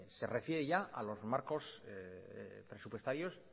se refiere ya a los marcos presupuestarios